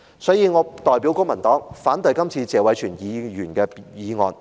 所以，我代表公民黨反對謝偉銓議員的議案。